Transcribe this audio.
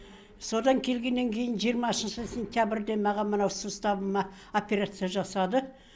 содан келгеннен кейін жиырмасыншы сентябрьде маған мына суставыма операция жасады